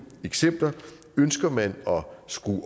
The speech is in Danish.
eksempler ønsker man at skrue